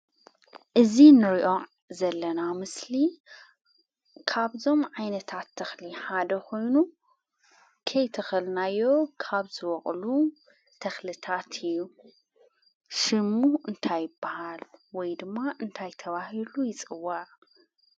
እዚ ንሪኦ ዘለና ምስሊ ካብዞም ዓይነታት ተክሊ ሓደ ኮይኑ ከይተከልናዮ ካብ ዝበቅሉ ተክልታት እዩ። ሽሙ እንታይ ይበሃል ወይ ድማ እንታይ ተባሂሉ ይፅዋዕ?